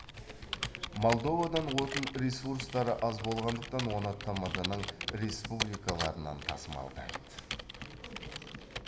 молдовадан отын ресурстары аз болғандықтан оны тмд ның республикаларынан тасымалдайды